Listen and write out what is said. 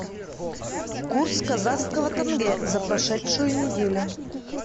курс казахского тенге за прошедшую неделю